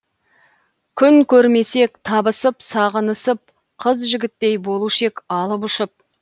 күн көрмесек табысып сағынысып қыз жігіттей болушы ек алып ұшып